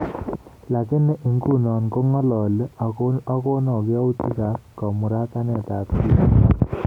Lakini inguno kong'alali agono yautik ab kamauratanet ab tibiik